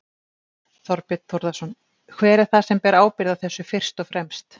Þorbjörn Þórðarson: Hver er það sem ber ábyrgð á þessu fyrst og fremst?